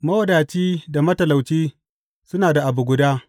Mawadaci da matalauci suna da abu guda.